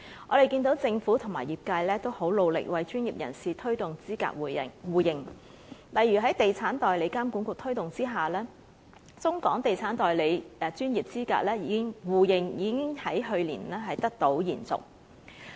我們見到政府和業界都很努力為專業人士推動資格互認，例如在地產代理監管局推動下，中港地產代理專業資格互認，已經在去年得到延續。